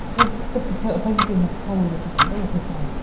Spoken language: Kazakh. тіпті позитивная психология болса да оқи саламын